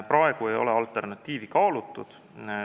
Praegu ei ole alternatiivi kaalutud.